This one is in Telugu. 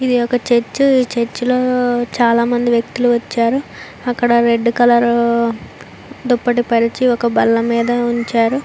ఇది ఒక చర్చ్ ఈ చర్చి లో చాలామంది వ్యక్తులు వచ్చారు అక్కడ రెడ్ కలర్ దుప్పటి పరిచి ఒక బల్ల మీద ఉంచారు.